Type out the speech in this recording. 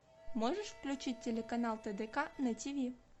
можешь включить телеканал тдк на тиви